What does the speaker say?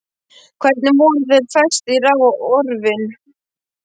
Hvernig voru þeir festir á orfin?